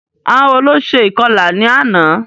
Àwọn wo ló ṣe ìkọlà ní àná?